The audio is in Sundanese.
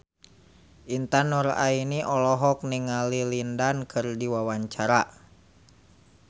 Intan Nuraini olohok ningali Lin Dan keur diwawancara